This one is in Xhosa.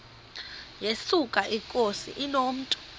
yesuka inkosi inomntu